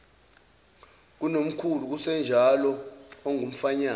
kunomkhulu kusenjalo okungumfanyana